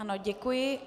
Ano, děkuji.